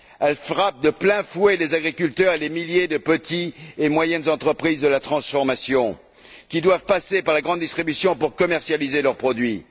Ils frappent de plein fouet les agriculteurs et les milliers de petites et moyennes entreprises de la transformation, qui doivent passer par la grande distribution pour commercialiser leurs produits.